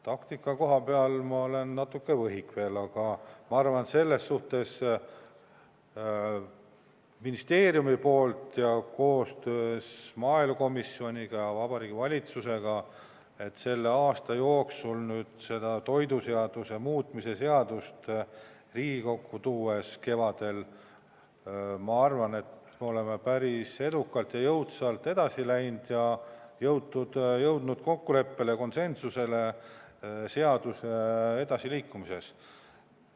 Taktika koha pealt ma olen natuke võhik veel, aga ma arvan, et ministeeriumi poolt, pärast aastast koostööd maaelukomisjoniga ja Vabariigi Valitsusega seda toiduseaduse muutmise seadust kevadel Riigikokku tuues, olime me päris edukalt ja jõudsalt edasi läinud ning jõudnud konsensusele seaduse edasiliikumises.